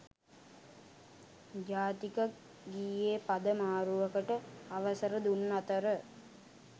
ජාතික ගීයේ පද මාරුවකට අවසර දුන් අතර